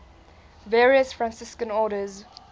various franciscan orders